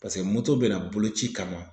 Paseke moto bɛna boloci kama.